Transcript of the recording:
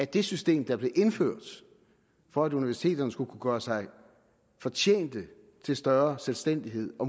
det system der blev indført for at universiteterne skulle gøre sig fortjent til større selvstændighed og